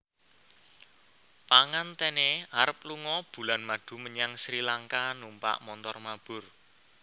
Pengantene arep lungo bulan madu menyang Sri Lanka numpak montor mabur